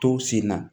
Tow senna